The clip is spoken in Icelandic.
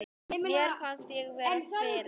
Mér fannst ég vera fyrir.